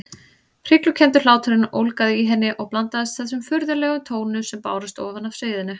Hryglukenndur hláturinn ólgaði í henni og blandaðist þessum furðulegum tónum sem bárust ofan af sviðinu.